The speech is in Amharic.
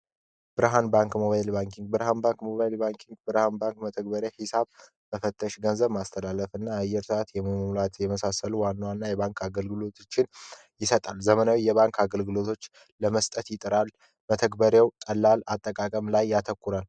ብርሃን ባንክ ሞባይል ባንኪ ብርሃን ባክ ሞባይል ባንክ ብርሃን ባንክ መተግበረ ሂሳብ በፈተሽ ገንዘብ ማስተላለፍና አየር ሰዓት የመሳሰሉ ዋና ዋና የባንክ አገልግሎትን ይሰጣል ዘመናዊ የባንክ አገልግሎቶች ለመስጠት ይጠራል በተግባር ቀላል አጠቃቀም ላይ ያተኩረል።